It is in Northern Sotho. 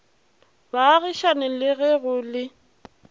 baagišane le ge go le